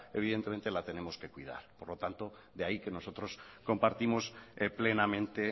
evidentemente la tenemos que cuidar por lo tanto de ahí que nosotros compartimos plenamente